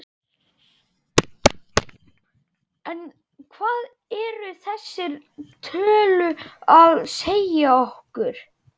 En hvað eru þessar tölu að segja okkur?